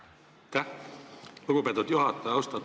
Lugupeetud juhataja!